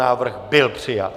Návrh byl přijat.